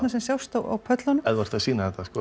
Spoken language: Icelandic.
sem sjást á pöllunum ef þú ert að sýna þetta